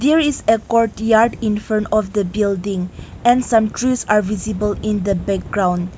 there is a courtyard in front of the building and some trees are visible in the background.